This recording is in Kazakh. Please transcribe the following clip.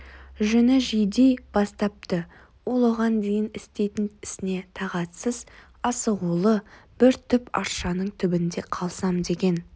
жүні жиди бастапты ол оған дейін істейтін ісіне тағатсыз асығулы бір түп аршаның түбінде қалсам деген